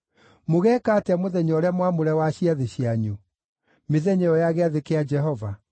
Mũgeeka atĩa mũthenya ũrĩa mwamũre wa ciathĩ cianyu, mĩthenya ĩyo ya gĩathĩ kĩa Jehova?